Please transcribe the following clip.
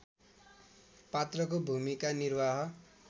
पात्रको भूमिका निर्वाह